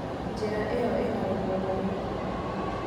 Njĩra ĩyo ĩna rũkũngũ mũno.